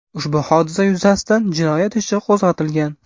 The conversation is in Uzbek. Ushbu hodisa yuzasidan jinoyat ishi qo‘zg‘atilgan.